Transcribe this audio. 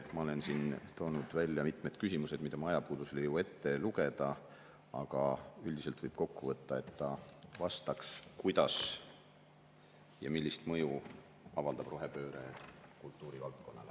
Ma olen siin toonud välja mitmed küsimused, mida ma ajapuudusel ei jõua ette lugeda, aga üldiselt võib kokku võtta, et ta vastaks sellele, kuidas ja millist mõju avaldab rohepööre kultuurivaldkonnale.